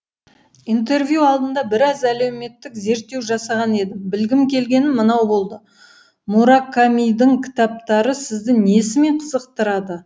интервью алдында біраз әлеуметтік зерттеу жасаған едім білгім келгені мынау болды муракамидың кітаптары сізді несімен қызықтырады